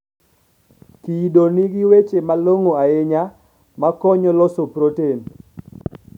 Kido nigi weche malong'o ahinya ma konyo loso proten